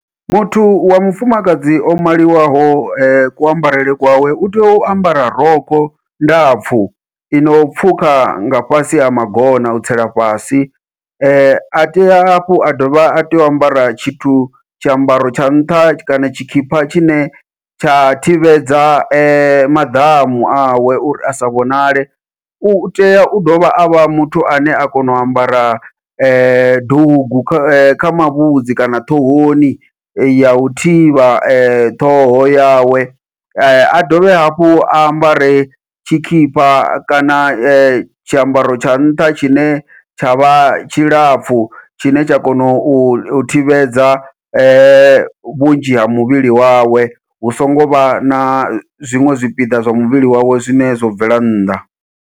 Muthu wa mufumakadzi o maliwaho ku ambarele kwawe u tea u ambara rokho ndapfhu ino pfhukha nga fhasi ha magona u tsela fhasi, a tea hafhu a dovha a tea u ambara tshithu tshiambaro tsha nṱha kana tshikhipha tshine tsha thivhedza maḓamu awe uri a sa vhonale, utea u dovha avha muthu ane a kona u ambara dugu kha kha mavhudzi kana ṱhohoni yau thivha ṱhoho yawe, a dovhe hafhu a ambare tshikhipha kana tshiambaro tsha nṱha tshine tsha vha tshilapfhu tshine tsha kona u thivhedza vhunzhi ha muvhili wawe, hu songo vha na zwiṅwe zwipiḓa zwa muvhili wawe zwine zwo bvela nnḓa.